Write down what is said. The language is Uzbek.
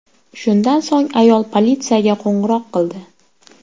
Shundan so‘ng ayol politsiyaga qo‘ng‘iroq qildi.